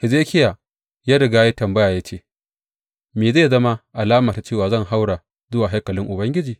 Hezekiya ya riga ya yi tambaya ya ce, Me zai zama alama ta cewa zan haura zuwa haikalin Ubangiji?